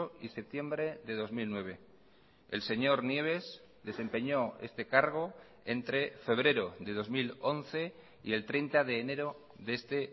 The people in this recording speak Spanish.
y septiembre de dos mil nueve el señor nieves desempeñó este cargo entre febrero de dos mil once y el treinta de enero de este